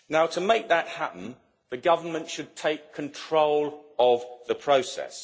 To make that happen, the Government should take control of the process.